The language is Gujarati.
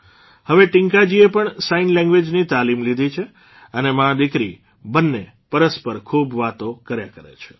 હવે ટીંકાજીએ પણ સાઇન લેંગ્વેઝની તાલીમ લીધી છે અને માદીકરી બંને પરસ્પર ખૂબ વાતો કર્યા કરે છે